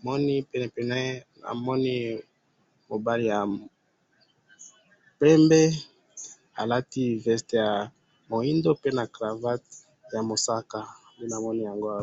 pe na penepene naye namoni mobali ya pembe alati veste ya mwindu na cravatte ya mosaka nde namoni awa.